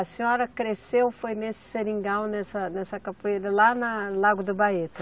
A senhora cresceu, foi nesse seringal, nessa, nessa capoeira, lá na Lago do Baeta?